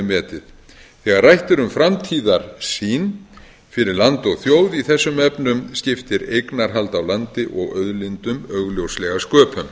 metið þegar rætt er um framtíðarsýn fyrir land og þjóð í þessum efnum skiptir eignarhald á landi og auðlindum augljóslega sköpum